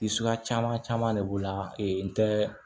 Suguya caman caman de b'o la n tɛ